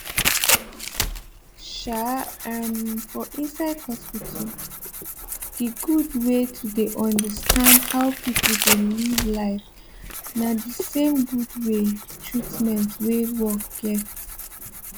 um ermmm for inside hospital d gud wey to dey understand how pipo dey live life na d same gud wey treatment wey work get